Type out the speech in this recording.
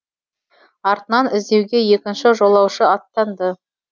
артынан іздеуге екінші жолаушы аттанды